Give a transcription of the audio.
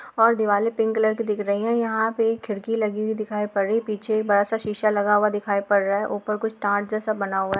और दीवाले pink colour की दिख रही है यहां पे एक खिड़की लगी हुई दिखाई पड़ रही पीछे बड़ा सा एक शीसा लगा हुआ दिखाई पड़ रहा है ऊपर कुछ टाट जैसा बना हुआ है।